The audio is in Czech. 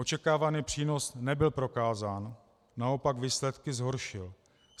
Očekávaný přínos nebyl prokázán, naopak výsledky zhoršil.